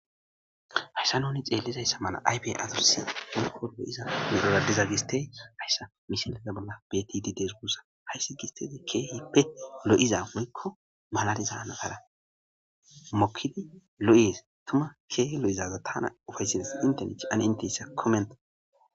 Hayssa nuni xeellizayssa mala aybe azorsi hunko lo'iza meroradiza gistey hayssa mishaleza bolla btidi dees guussa hayssi gistede keehippe lo'iza woykko malariza nagara mokidi lo7ies tuma keehi lo7izaza tana ufaysils intenech ane inteyssa komenta.